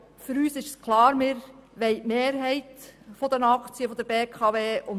Aber für uns ist klar, dass wir die Mehrheit der Aktien halten möchten.